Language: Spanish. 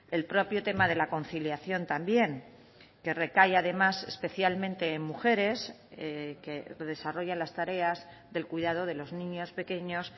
el propio tema de la conciliación también que recae además especialmente en mujeres que desarrollan las tareas del cuidado de los niños pequeños